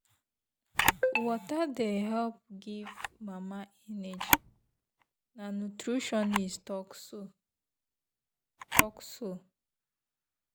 water dey help give mama energy na nutritionist talk so. talk so.